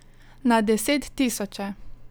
Na deset tisoče!